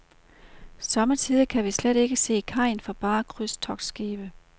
Somme tider kan vi slet ikke se kajen for bare krydstogtskibe.